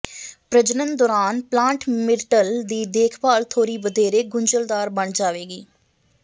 ਪ੍ਰਜਨਨ ਦੌਰਾਨ plant myrtle ਦੀ ਦੇਖਭਾਲ ਥੋੜ੍ਹੀ ਵਧੇਰੇ ਗੁੰਝਲਦਾਰ ਬਣ ਜਾਵੇਗੀ